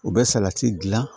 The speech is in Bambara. U bɛ salati dilan